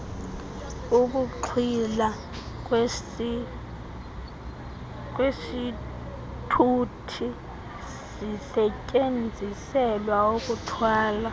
ukuxhwilwa kwesithuthiesisetyenziselwa ukuthwala